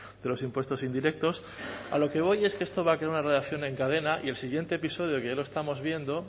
de los impuestos indirectos a lo que voy es que esto va a crear una reacción en cadena y el siguiente episodio que ya lo estamos viendo